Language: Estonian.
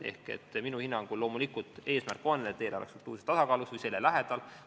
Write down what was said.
Ehk minu hinnangul on loomulikult eesmärk see, et eelarve oleks struktuurses tasakaalus või selle lähedal.